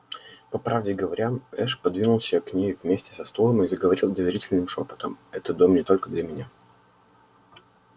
по правде говоря эш подвинулся к ней вместе со стулом и заговорил доверительным шёпотом это дом не только для меня